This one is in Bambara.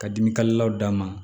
Ka dimi law d'a ma